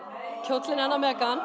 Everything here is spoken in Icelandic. kjóllinn hennar